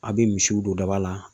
A be misiw don daba la.